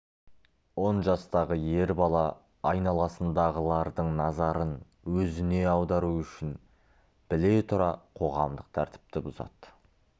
он жастағы ер бала айналасындағылардың назарын өзіне аудару үшін біле тұра қоғамдық тәртіпті бұзады